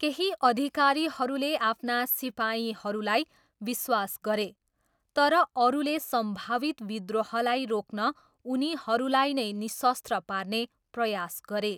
केही अधिकारीहरूले आफ्ना सिपाहीहरूलाई विश्वास गरे, तर अरूले सम्भावित विद्रोहलाई रोक्न उनीहरूलाई नै निशस्त्र पार्ने प्रयास गरे।